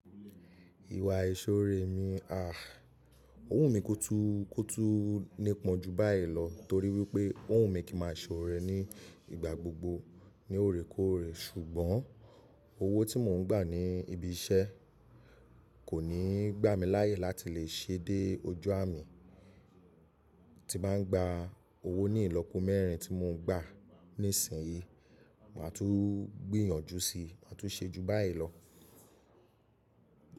Ìwà aìṣòòré mi à, òhun mi kótú kótú nípọn ju báyi lọ torí wípé òhun mi kí máa ṣòrò rẹ ní ìgbà gbogbo ní òrèkóòrè ṣùgbọ́n owó tí mò ń gbà ní ibi iṣẹ́ kò ní gbà mí láàyè láti lè ṣe dé ojú à mi. Tí bàá n gba owó ní ìlọ́po mẹ́rin tí mò ń gbà nísinyí màá tún gbìyànjú sí, màá tún ṣe ju báyi lọ.